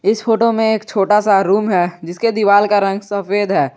इस फोटो में एक छोटा सा रूम है जिसके दीवाल का रंग सफेद है।